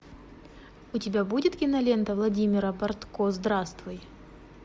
у тебя будет кинолента владимира бортко здравствуй